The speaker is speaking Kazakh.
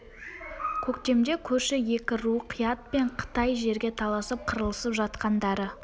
көктемде көрші екі ру қият пен қытай жерге таласып қырылысып жатқандары